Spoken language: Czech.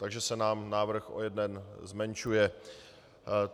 Takže se nám návrh o jeden zmenšuje.